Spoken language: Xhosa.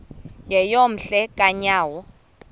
yeyom hle kanyawo